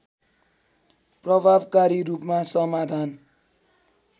प्रभावकारी रूपमा समाधान